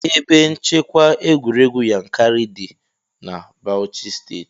Ebe nchekwa egwuregwu Yankari dị na Bauchi steeti.